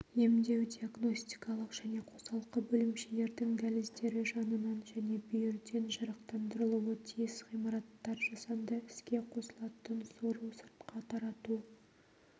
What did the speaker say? емдеу-диагностикалық және қосалқы бөлімшелердің дәліздері жанынан және бүйірден жарықтандырылуы тиіс ғимараттар жасанды іске қосылатын сору-сыртқа тарату